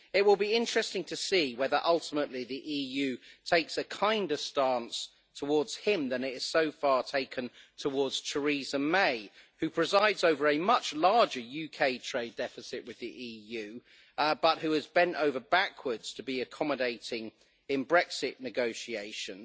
It will be interesting to see whether ultimately the EU takes a kinder stance towards him than it has so far taken towards Theresa May, who presides over a much larger UK trade deficit with the EU but who has bent over backwards to be accommodating in Brexit negotiations,